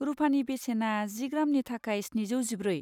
रुफानि बेसेना जि ग्रामनि थाखाय स्निजौ जिब्रै।